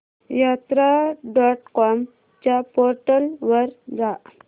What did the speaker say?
यात्रा dot com च्या portal वर जा